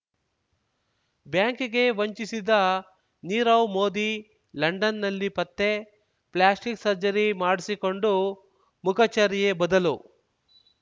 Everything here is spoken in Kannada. ಬ್ಯಾಂಕ್‌ಗೆ ವಂಚಿಸಿದ ನೀರವ್ ಮೋದಿ ಲಂಡನ್‌ನಲ್ಲಿ ಪತ್ತೆ ಪ್ಲಾಸ್ಟಿಕ್ ಸರ್ಜರಿ ಮಾಡಿಸಿಕೊಂಡು ಮುಖಚರ್ಯೆ ಬದಲು